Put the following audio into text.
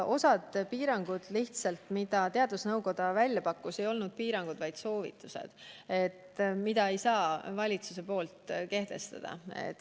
Osa piiranguid, mida teadusnõukoda välja pakkus, ei olnud piirangud, vaid soovitused, mida valitsus ei saa kehtestada.